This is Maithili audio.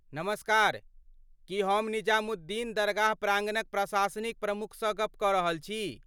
नमस्कार, की हम निजामुद्दीन दरगाह प्राङ्गणक प्रसाशनिक प्रमुखसँ गप्प कऽ रहल छी?